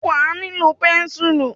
Wà a nílò pẹ́ńsùl.